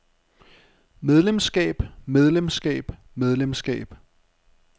medlemskab medlemskab medlemskab